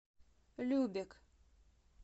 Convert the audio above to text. любек